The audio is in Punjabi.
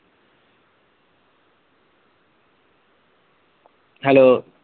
hello